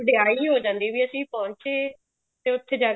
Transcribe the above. ਵਿਆਹੀ ਹੋ ਜਾਂਦੀ ਵੀ ਅਸੀਂ ਪਹੁੰਚੇ ਤੇ ਉੱਥੇ ਜਾ